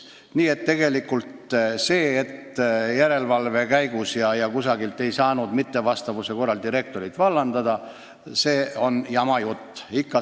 Nii et see, et järelevalve käigus ei saanud nõuetele mittevastavuse korral direktorit vallandada, on jama jutt.